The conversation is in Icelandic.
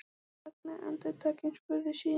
Hann þagnaði andartak en spurði síðan